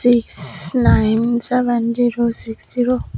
six nine seven zero six zero.